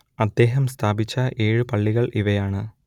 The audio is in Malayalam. അദ്ദേഹം സ്ഥാപിച്ച ഏഴു പള്ളികൾ ഇവയാണ്